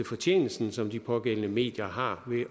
fortjenesten som de pågældende medier har ved